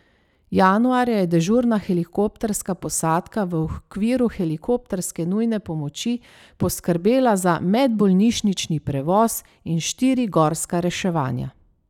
Januarja je dežurna helikopterska posadka v okviru helikopterske nujne pomoči poskrbela za medbolnišnični prevoz in štiri gorska reševanja.